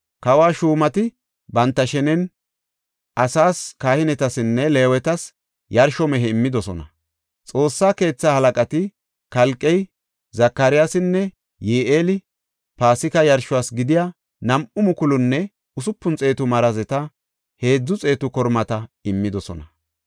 Kawo shuumati banta shenen asaas, kahinetasinne Leewetas yarsho mehe immidosona. Xoossa keetha halaqati Kalqey, Zakariyasinne Yi7eeli Paasika yarshos gidiya nam7u mukulunne usupun xeetu marazeta, heedzu xeetu kormata immidosona.